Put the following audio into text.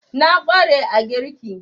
Na ƙware a girki